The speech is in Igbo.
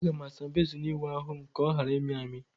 Aga m asa bezin ịwụ ahụ m ka ọ ghara ịmị m amị.